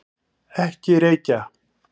Ekki reykja!